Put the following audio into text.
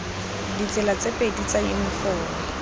ditsela tse pedi tsa yunifomo